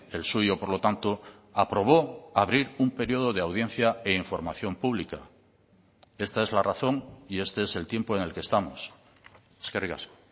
el suyo por lo tanto aprobó abrir un periodo de audiencia e información pública esta es la razón y este es el tiempo en el que estamos eskerrik asko